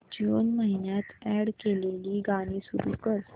जून महिन्यात अॅड केलेली गाणी सुरू कर